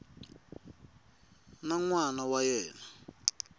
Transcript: na n wana wa yena